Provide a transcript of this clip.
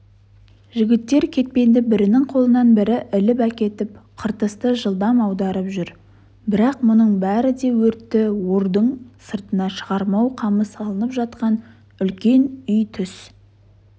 жігіттер кетпенді бірінің қолынан бірі іліп әкетіп қыртысты жылдам аударып жүр бірақ мұның бәрі де өртті ордың сыртына шығармау қамы салынып жатқан үлкен үй түс